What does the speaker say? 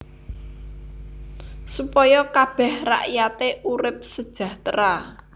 Supaya kabèh rakyaté urip sejahtera